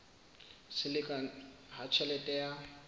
se lekane ha tjhelete ya